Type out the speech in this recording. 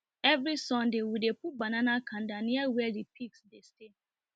everysonday we dey put banana kanda near where the pigs dey stay